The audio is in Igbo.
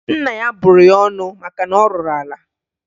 Nna ya bụrụ ya ọnụ maka na ọ rụrụ ala